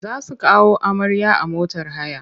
Za su kawo amarya a motar haya.